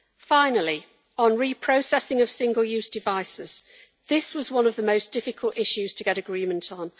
Finally, on reprocessing of single-use devices, this was one of the most difficult issues to get agreement on.